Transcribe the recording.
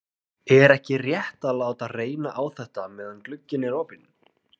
Er ekki rétt að láta reyna á þetta meðan glugginn er opinn?